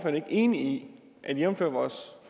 er enig i at vi jævnfør vores